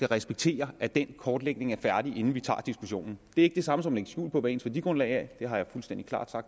respekterer at den kortlægning er færdig inden vi tager diskussionen det er ikke det samme som at lægge skjul på hvad ens værdigrundlag er det har jeg fuldstændig klart